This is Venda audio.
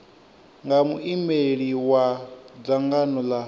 nga muimeli wa dzangano la